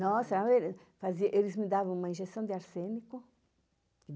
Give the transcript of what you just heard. Nossa, fazia eles me davam uma injeção de arsênico.